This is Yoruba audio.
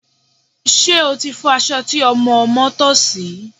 Ṣé o ti fọ aṣọ tí ọmọ ọmọ́ tọ̀ sí?